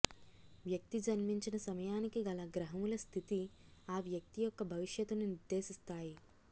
వ్యక్తి జన్మించిన సమయానికి గల గ్రహముల స్థితి ఆ వ్యక్తి యొక్క భవిష్యత్తును నిర్దేశిస్తాయి